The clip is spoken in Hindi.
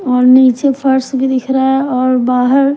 और नीचे फर्श भी दिख रहा है और बाहर--